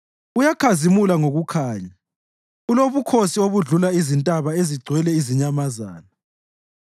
Uyakhazimula ngokukhanya, ulobukhosi obudlula izintaba ezigcwele izinyamazana.